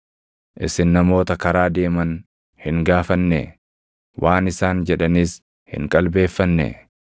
Isin namoota karaa deeman hin gaafannee? Waan isaan jedhanis hin qalbeeffannee?